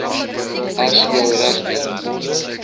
as jou regte